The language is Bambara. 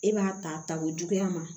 E b'a ta ta o juguya ma